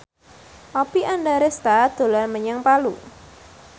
Oppie Andaresta dolan menyang Palu